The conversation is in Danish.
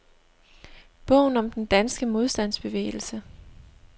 Bogen om den danske modstandsbevægelse.